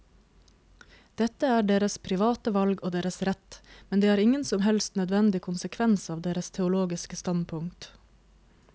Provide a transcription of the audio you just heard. Dette er deres private valg og deres rett, men det er ingen som helst nødvendig konsekvens av deres teologiske standpunkt.